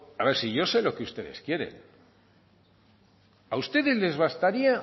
a ver si yo sé lo que ustedes quieren a ustedes les bastaría